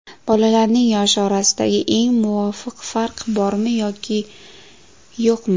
Bolalarning yoshi orasidagi eng muvofiq farq: bormi yoki yo‘qmi?.